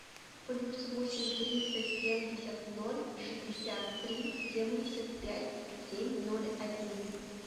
плюс восемь триста семьдесят ноль шестьдесят три семьдесят пять семь ноль один